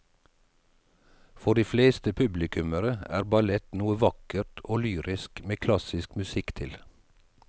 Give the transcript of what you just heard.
For de fleste publikummere er ballett noe vakkert og lyrisk med klassisk musikk til.